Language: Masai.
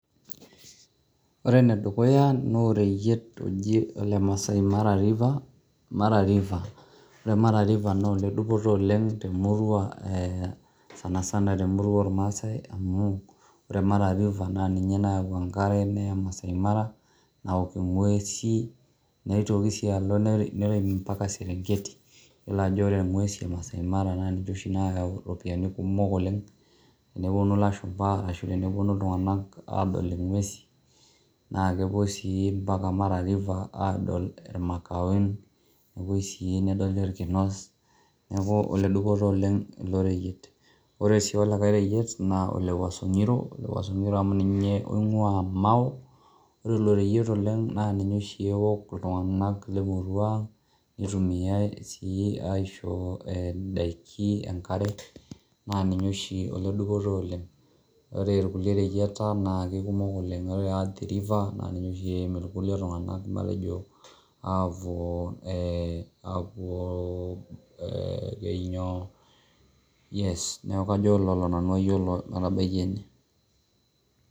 ore ene dukuya naa oreyiet oji, ole maasai mara river ore mara river naa ole dupoto oleng temurua, sanisana temurua oleng ormaasae. amu, ore mara river naa ninye nayau enkare neya maasai mara naok ing'uesi, neitoki sii alo nerem mpaka serengeti. iyiolo ajo ore ng'uesi e maasai mara naa ninche oshi naayau iropiyiani kumok oleng, tenepuonu lashumpa ashu tenepuonu iltunganak aadol ing'uesi naa kepuo sii mpaka mara river aadol irmakaun. nepuoi sii nedolli orkinos. neeku ole dupoto oleng iloreyiet. ore sii olikae reyiet naa ole wuaso ngiro, ole wuaso ngiro amu ninye oing'uaa mao. ore ilo reyiet oleng naa ninye sii ewok iltunganak lemurua nietumiayae sii aisho idaikin, neisho enkare, naaninye oshi ole dupoto oleng. ore kulie reyieta naa eikumok oleng. ore athi river naa ninye oshi eim iltunganak ejo aapuo apuoo ee keji inyo yes neeku kajo kaitabaiki ine.